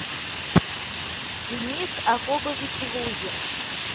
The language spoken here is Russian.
денис акобович лузин